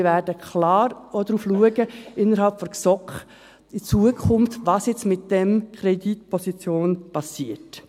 Wir werden in der GSoK in Zukunft klar auch darauf schauen, was mit dieser Kreditposition geschieht.